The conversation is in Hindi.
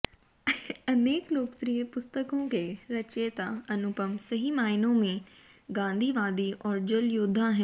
अनेक लोकप्रिय पुस्तकों के रचयिता अनुपम सही मायनों में गांधीवादी और जलयोद्धा हैं